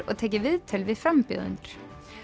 og tekið viðtöl við frambjóðendur